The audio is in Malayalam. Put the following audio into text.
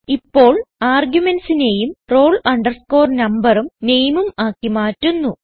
ഇപ്പോൾ argumentsനേയും roll numberഉം nameഉം ആക്കി മാറ്റുന്നു